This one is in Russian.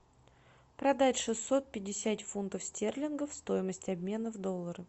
продать шестьсот пятьдесят фунтов стерлингов стоимость обмена в доллары